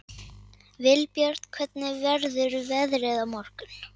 Vilbjörn, hvernig verður veðrið á morgun?